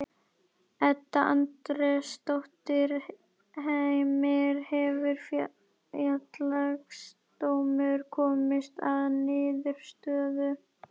Edda Andrésdóttir: Heimir, hefur Félagsdómur komist að niðurstöðu?